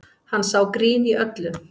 Hann sá grín í öllu